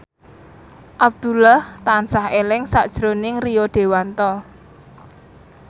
Abdullah tansah eling sakjroning Rio Dewanto